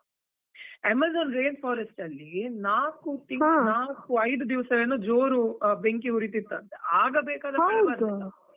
Amazon rainforest ಅಲ್ಲಿ ನಾಕು ತಿಂಗಳು ನಾಕು ಐದು ದಿವಸ ಏನೋ ಜೋರ್ ಬೆಂಕಿ ಉರಿತ್ತಿತ್ತಂತೆ .